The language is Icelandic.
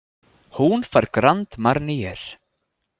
Hún fær Grand Marnier.